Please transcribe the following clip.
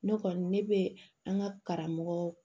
Ne kɔni ne bɛ an ka karamɔgɔ